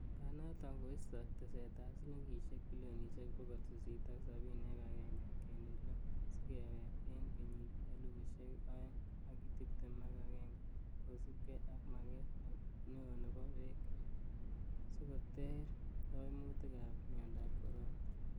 Banaton koisto tesetab silingisiek bilionisiek bogol sisit ak sabini ak agenge kenuch loo, sikewek en kenyitab elfusiek oeng ak tibtem ak agenge, kosiibge ak maget neo nebo beek sikoter koimutik ab miondab corona.